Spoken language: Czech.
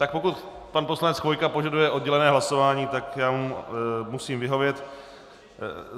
Tak pokud pan poslanec Chvojka požaduje oddělené hlasování, tak já mu musím vyhovět.